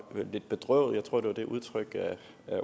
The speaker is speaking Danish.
var lidt bedrøvet jeg tror det var det udtryk